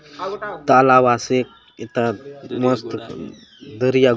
तालाब आसे एथा मस्त दरिया घोडा आसे।